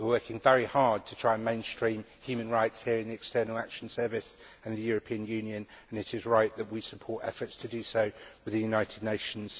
We are working very hard to try to mainstream human rights here in the External Action Service in the European Union and it is right that we support efforts to do so in the United Nations.